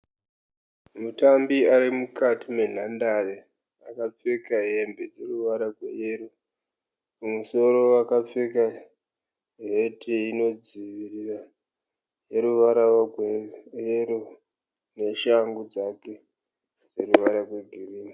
Mutambi ari mukati menhandare. Akapfeka hembe ine ruvara rweyero. Mumusoro akapfeka heti inodzivirira ineruvara rweyero neshangu dzake dzine ruvara rwegirinhi.